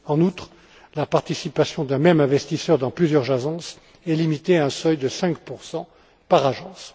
En outre, la participation d'un même investisseur dans plusieurs agences est limitée à un seuil de 5 par agence.